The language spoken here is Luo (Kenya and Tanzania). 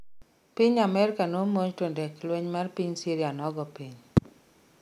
piny amerka nomonj to ndek lweny mar piny syria nogoo piny